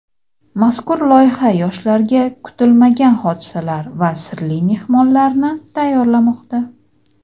Mazkur loyiha yoshlarga kutilmagan hodisalar va sirli mehmonlarni tayyorlamoqda!.